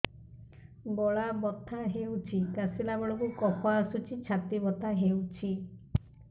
ଗଳା ବଥା ହେଊଛି କାଶିଲା ବେଳକୁ କଫ ଆସୁଛି ଛାତି ବଥା ହେଉଛି